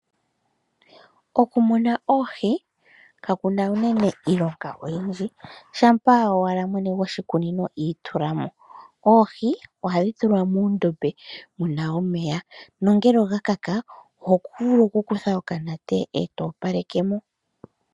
Okumuna oohi kakuna uunene iilonga oyindji shampa owala mwene goshikunino itulamo , oohi ohadhi tulwa muundombe wuna omeya nongele oga kaka oho vulu oku kutha okanete eto opaleke mo.